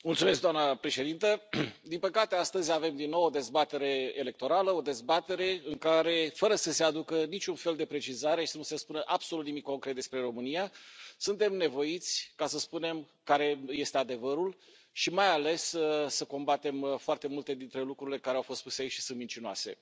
Doamna președintă, din păcate astăzi avem din nou o dezbatere electorală, o dezbatere în care, fără să se aducă niciun fel de precizare și nici să se spună absolut nimic concret despre România, suntem nevoiți să spunem care este adevărul și, mai ales, să combatem foarte multe dintre lucrurile care au fost spuse și sunt mincinoase.